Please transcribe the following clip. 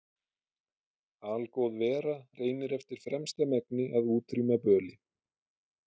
Algóð vera reynir eftir fremsta megni að útrýma böli.